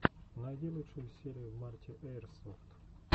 найди лучшую серию марти эирсофт